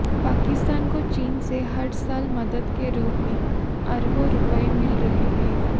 पाकिस्तान को चीन से हर साल मदद के रूप में अरबों रुपए मिल रहे हैं